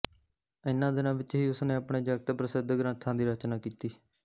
ਇਨ੍ਹਾਂ ਦਿਨਾਂ ਵਿੱਚ ਹੀ ਉਸ ਨੇ ਆਪਣੇ ਜਗਤ ਪ੍ਰਸਿੱਧ ਗ੍ਰੰਥਾਂ ਦੀ ਰਚਨਾ ਕੀਤੀ